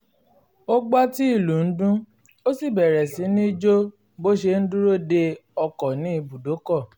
ó gbọ́ tí ìlù ń dún ó sì bẹ̀rẹ̀ sí ní jo bó ṣe ń dúró de ọkọ̀ ní ibùdókọ̀